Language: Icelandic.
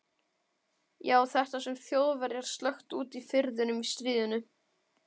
Já, þetta sem Þjóðverjar sökktu úti í firðinum í stríðinu.